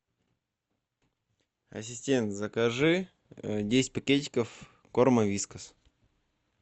ассистент закажи десять пакетиков корма вискас